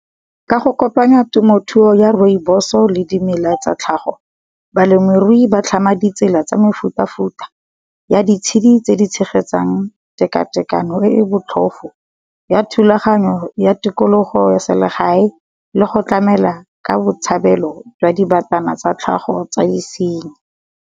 Ka go kopanya temothuo ya Rooiboso le dimela tsa tlhago, balemirui ba tlhama ditsela tsa mefuta-futa, ya ditshedi tse di tshegetsang teka tekano e botlhofo. Ya thulaganyo ya tikologo, ya selegae le go tlamela ka botshabelo jwa dibatana tsa tlhago tsa disenyi.